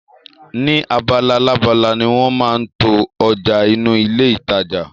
Ni abalalábala ni wọn máa ń to ọjà inú ilé ìtajà